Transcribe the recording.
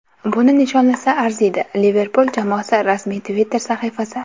Buni nishonlasa arziydi”, – Liverpul jamoasi rasmiy Twitter-sahifasi.